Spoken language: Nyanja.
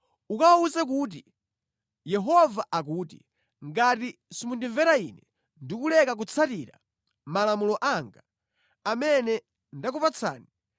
Ukawawuze kuti, ‘Yehova akuti: Ngati simundimvera Ine ndi kuleka kutsatira malamulo anga, amene ndakupatsani,